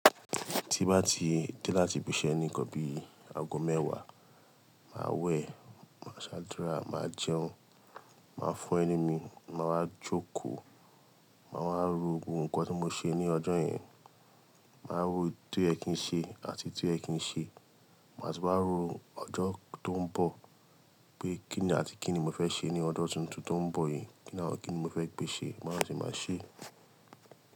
Tí bá ti dé láti bíṣẹ́ ni kọ́ bí aago mẹ́wàá, màá wẹ̀, màá ṣàdúrà, màá jẹun, màá fọ ẹnu mi, màá wá jókòó, màá wá ro gbogbo nkán tí mo ṣe ní ọjọ́ yẹn, màá wo ohùn tó yẹ kí n ṣe àti èyí ti o yẹ kí n ṣe, màá tún wá ro ọjọ́ tó ń bọ̀ pé kí ni àti kí ni mo fẹ́ ṣe ní ọdún tuntun tó ń bọ̀ yí, kí ni àwọn kí ni mo fẹ́ gbé ṣe, màá sì máa ṣe.